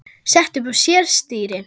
setti upp á sér stýri